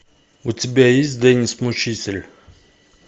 у тебя есть деннис мучитель